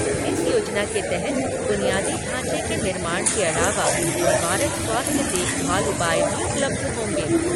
इस योजना के तहत बुनियादी ढाँचे के निर्माण के अलावा निवारक स्वास्थ्य देखभाल उपाय भी उपलब्ध होंगे।